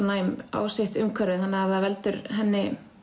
næm á sitt umhverfi þannig að það veldur henni